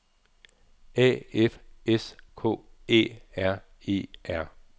A F S K Æ R E R